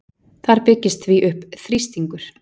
Þar byggist því upp þrýstingur.